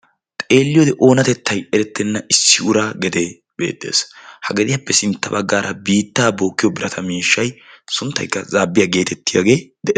Xeelliyode oonatettay erettenna issi uraa gedee beettees. Ha gediyappe sintta baggaara biittaa bookkiyo birata miishshay sunttaykka zaabbiya geetettiyagee dees.